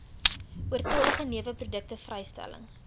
oortollige neweproduk vrystelling